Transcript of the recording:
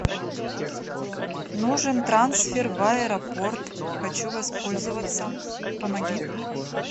нужен трансфер в аэропорт хочу воспользоваться помоги